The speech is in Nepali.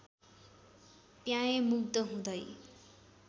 प्याएँ मुग्ध हुँदै